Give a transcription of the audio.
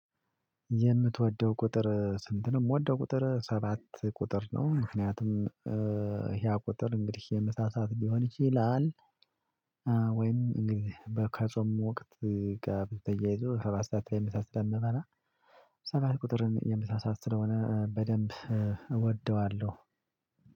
የምትወደው ቁጥር ስንት ነው? የምወደው ቁጥር ሰባት ቁጥር ነው። ምክንያቱም ህያ ቁጥር እንግዲህ የመሳሳት ሊሆን ይችላል። ወይም እንግዲህ በ ከጾም ወቅት ጋር ተያይዞ ሰባት ሰዓት ላይ ምሳ ስለምበላ። በደንብ እወደዋለሁ።